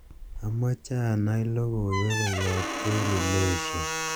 amoje anai logoiwek koyop daily nation